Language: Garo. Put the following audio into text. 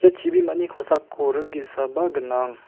ia chibimani kosako ring ge·saba gnang.